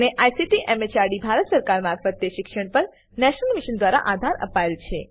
જેને ICT MHRD Bharat સરકાર મારફતે શિક્ષણ પર નેશનલ મિશન દ્વારા આધાર અપાયેલ છે